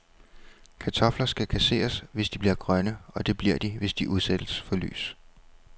Kartofler skal kasseres, hvis de bliver grønne, og det bliver de, hvis de udsættes for lys.